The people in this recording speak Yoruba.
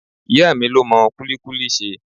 Ìyá mi ló mọ kulikuli ṣe.